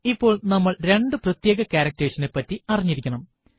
ഇപ്പോൾ നമ്മൾ രണ്ടു പ്രത്യേക ക്യാരക്ടർസ് നെ പറ്റി അറിഞ്ഞിരിക്കണം